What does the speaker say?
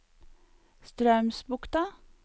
Straumsbukta